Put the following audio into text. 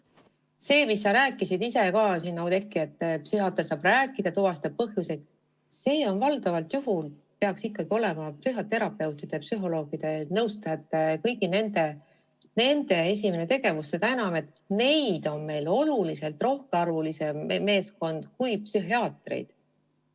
See, mida sa siin rääkisid, Oudekki, et psühhiaatriga saab rääkida ja ta tuvastab põhjuseid, see peaks valdavalt olema ikkagi psühhoterapeutide, psühholoogide ja nõustajate esimene tegevus, seda enam, et neid on meil oluliselt rohkem kui psühhiaatreid.